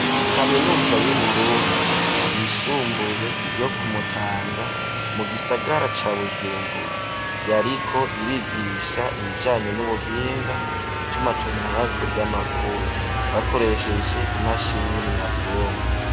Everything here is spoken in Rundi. Kaminuza y'Uburundi, yisumbuye, yo ku Mutanga, mu gisagara ca Bujumbura; yariko irigisha, ibijanye n'ubuhinga, itumatumanako ry'amakuru, bakoresheje, imashini nyabwongo.